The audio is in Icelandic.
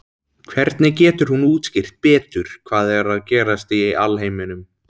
Hvernig getur hún útskýrt betur hvað er að gerast í alheiminum?